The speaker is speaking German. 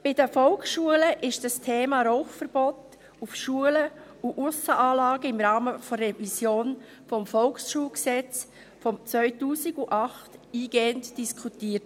Bei den Volksschulen wurde das Thema Rauchverbot in den Schulen und Aussenanlagen im Rahmen der Revision des Volksschulgesetzes (VSG) im Jahr 2008 eingehend diskutiert.